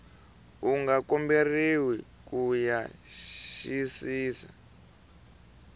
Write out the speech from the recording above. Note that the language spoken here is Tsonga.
u nga komberiwa ku xiyisisisa